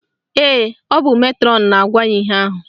Ee, ọ bụ metrọnụ na-agwa ya ihe ahụ